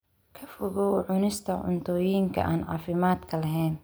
Ka fogow cunista cuntooyinka aan caafimaadka lahayn.